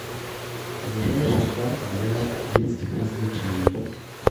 ближайший парк для детских развлечений